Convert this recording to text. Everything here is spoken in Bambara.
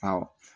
Awɔ